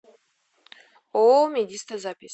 ооо медиста запись